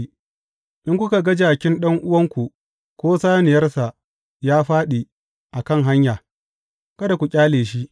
In kuka ga jakin ɗan’uwanku, ko saniyarsa ya fāɗi a kan hanya, kada ku ƙyale shi.